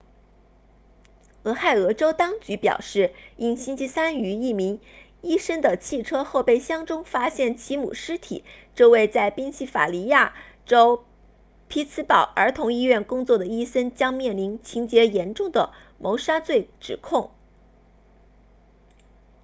俄亥俄州当局表示因星期三于一名医生的汽车后备箱中发现其母尸体这位在宾夕法尼亚州匹兹堡儿童医院工作的医生将面临情节严重的谋杀罪指控